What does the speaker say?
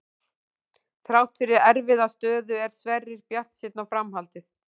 Þrátt fyrir erfiða stöðu er Sverrir bjartsýnn á framhaldið.